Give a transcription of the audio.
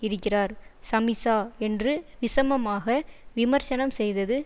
இருக்கிறார் சமிசா என்று விஷமமாக விமர்சனம் செய்தது